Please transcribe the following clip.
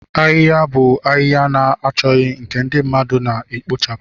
Ahịhịa bụ ahịhịa na-achọghị nke ndị mmadụ na-ekpochapụ.